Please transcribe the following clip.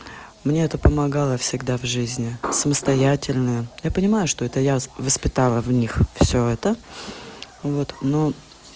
мне это помогало всегда в жизни в самостоятельную я понимаю что это я в воспитала в них всё это вот ну